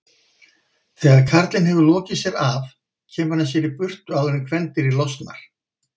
Þegar karlinn hefur lokið sér af kemur hann sér í burtu áður en kvendýrið losnar.